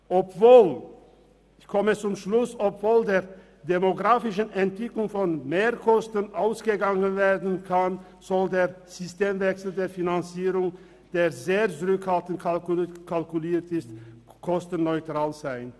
Obwohl aufgrund der demografischen Entwicklung von Mehrkosten ausgegangen werden kann, sollte der Systemwechsel der Finanzierung, der sehr zurückhaltend kalkuliert ist, kostenneutral sein.